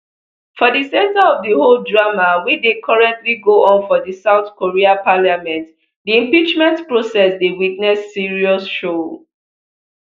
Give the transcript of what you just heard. for di center of di whole drama wey dey currently go on for di south korea parliament di impeachment process dey witness serious show